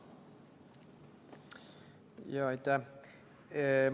Jaa, aitäh!